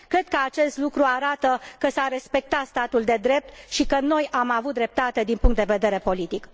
Cred că acest lucru arată că s a respectat statul de drept și că noi am avut dreptate din punct de vedere politic.